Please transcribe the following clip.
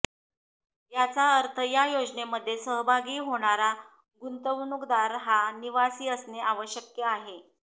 याचा अर्थ या योजनेमध्ये सहभागी होणारा गुंतवणूकदार हा निवासी असणे आवश्यक आहे